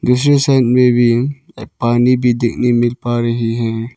दूसरे साइड में भी एक पानी भी देखने मिल पा रहे हैं।